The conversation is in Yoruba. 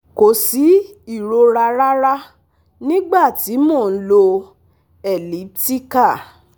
Ko si irora rara nigba ti mo n lò elliptical